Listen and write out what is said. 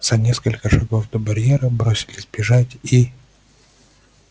за несколько шагов до барьера бросились бежать и